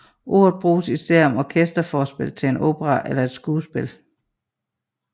Ordet bruges især om orkesterforspil til en opera eller et skuespil